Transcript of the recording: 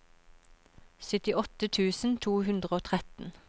syttiåtte tusen to hundre og tretten